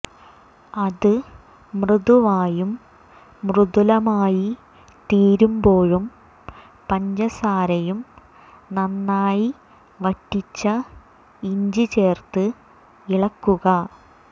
അത് മൃദുവായും മൃദുലമായിത്തീരുമ്പോഴും പഞ്ചസാരയും നന്നായി വറ്റിച്ച ഇഞ്ചി ചേർത്ത് ഇളക്കുക